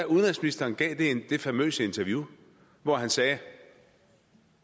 udenrigsministeren gav det famøse interview hvor han sagde